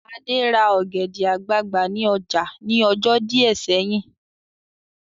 Adé ra ọ̀gẹ̀dẹ̀ àgbagbà ní ọjà ní ọjọ́ díẹ̀ sẹ́yìn